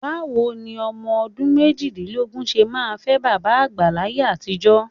Báwo ni ọmọ ọdún méjìdínlógún ṣe máa fẹ́ bàbá àgbà láyé àtijọ́?